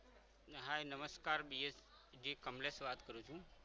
હાય નમસ્કાર, ડીએસ કમલેશ વાત કરું છું.